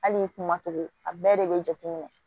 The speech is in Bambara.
Hali kuma togo a bɛɛ de bɛ jateminɛ